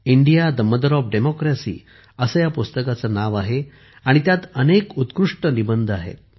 India the mother of democracy असे या पुस्तकाचे नाव आहे आणि त्यात अनेक उत्कृष्ट निबंध आहेत